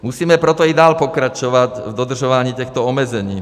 Musíme proto i dál pokračovat v dodržování těchto omezení.